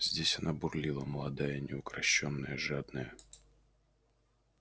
здесь она бурлила молодая неукрощённая жадная